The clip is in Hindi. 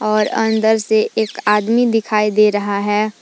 और अंदर से एक आदमी दिखाई दे रहा है।